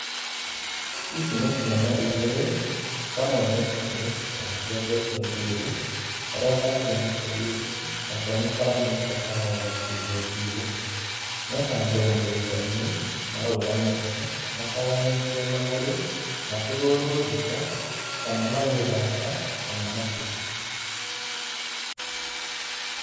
Ici nĩ ciana igĩrĩ, kamwe nĩ kahĩĩ na nĩ kenjetwo njuĩrĩ, karĩa kangĩ nĩ kairĩtu nako nĩ karamĩtwo kana gagakĩndwo njuĩrĩ, me handũ mũgũnda-inĩ, marũgamĩte mataganĩtie magũrũ, makĩhũrwo mbica kana magĩthaka kana makĩ